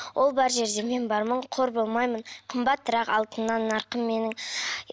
ол бар жерде мен бармын қор болмаймын қымбатырақ алтыннан нарқым менің